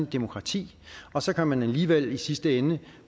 demokrati og så kan man alligevel i sidste ende